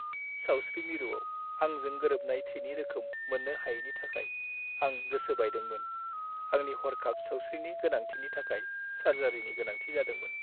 सावस्रि मिरुआव आंजों गोरोबनाय थैनि रोखोम मोन्नो हायैनि थाखाय आं गोसो बायदोंमोन। आंनि हरखाब सावस्रिनि गोनांथिनि थाखाय सार्जारिनि गोनांथि जादोंमोन।